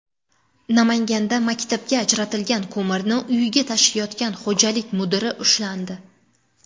Namanganda maktabga ajratilgan ko‘mirni uyiga tashiyotgan xo‘jalik mudiri ushlandi.